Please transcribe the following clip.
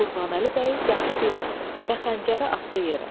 Qurbanəli bəy dəxi dinmədi və xəncəri atdı yerə.